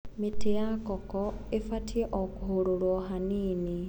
Mĩtĩ ya koko ĩbatie okũhũrũrwo hanini.